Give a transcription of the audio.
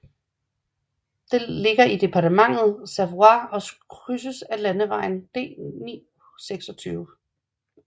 Det ligger i departementet Savoie og krydses af landevejen D926